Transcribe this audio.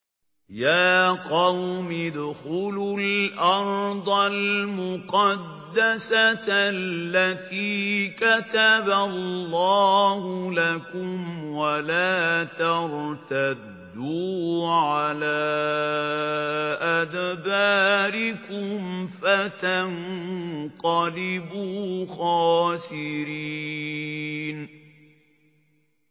يَا قَوْمِ ادْخُلُوا الْأَرْضَ الْمُقَدَّسَةَ الَّتِي كَتَبَ اللَّهُ لَكُمْ وَلَا تَرْتَدُّوا عَلَىٰ أَدْبَارِكُمْ فَتَنقَلِبُوا خَاسِرِينَ